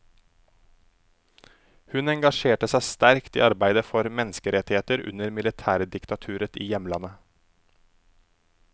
Hun engasjerte seg sterkt i arbeidet for menneskerettigheter under militærdiktaturet i hjemlandet.